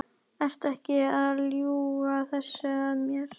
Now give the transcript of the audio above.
Ertu ekki að ljúga þessu að mér?